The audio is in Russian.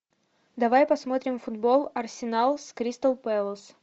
давай посмотрим футбол арсенал с кристал пэлас